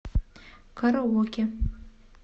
караоке